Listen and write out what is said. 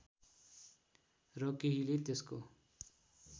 र केहीले त्यसको